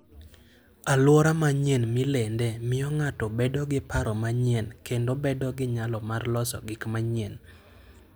Alwora manyien milendee miyo ng'ato bedo gi paro manyien kendo bedo gi nyalo mar loso gik manyien.